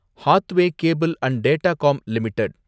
Hathway cable and Datacom limited